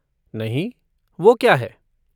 नहीं, वो क्या है?